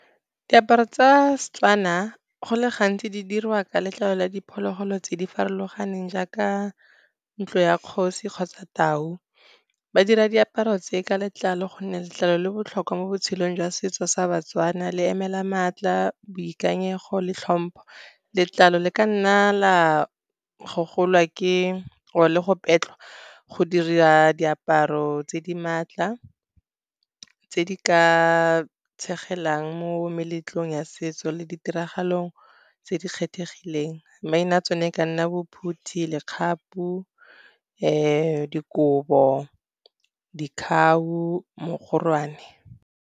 Diaparo tsa Setswana go le gantsi di dirwa ka letlalo la diphologolo tse di farologaneng, jaaka ntlo ya kgosi kgotsa tau. Ba dira diaparo tse ka letlalo gonne letlalo le botlhokwa mo botshelong jwa setso sa baTswana, le emela maatla, boikanyego le tlhompho. Letlalo le ka nna la gogolwa ke or-e le go petlhwa go dira diaparo tse di maatla, tse di ka tshegelang mo meletlong ya setso le ditiragalo tse di kgethegileng. Maina tsone ka nna bo phuthi, lekgapu, dikobo, , mogorwane.